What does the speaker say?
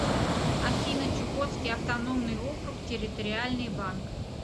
афина чукотский автономный округ территориальный банк